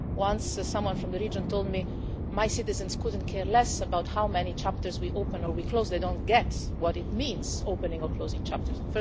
Once someone from the region told me my citizens couldn't care less about how many chapters we open or we close. They don't get' what it means by opening or closing chapters'.